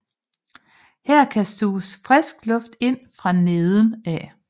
Her kan suges frisk luft ind fra neden af